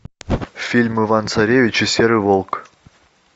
фильм иван царевич и серый волк